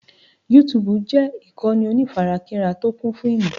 Yútúúbù jẹ́ ìkànnì onífarakínra tí ó kún fún ìmò.